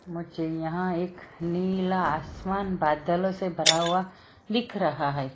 मुझे यहां एक नीला आसमान बादलों से भरा हुआ दिख रहा है।